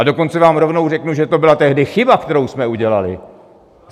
A dokonce vám rovnou řeknu, že to byla tehdy chyba, kterou jsme udělali.